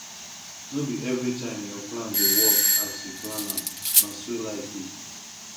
no be everytime your plan dey work as you plan am na so life be